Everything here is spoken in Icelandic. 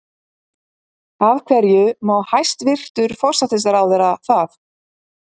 Af hverju má hæstvirtur forsætisráðherra það?